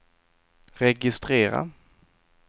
registrera